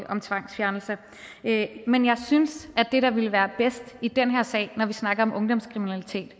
om tvangsfjernelser men jeg synes at det der ville være bedst i den her sag når vi snakker om ungdomskriminalitet